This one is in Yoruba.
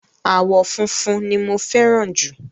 Àwọ̀ funfun ni mo fẹ́ràn jù.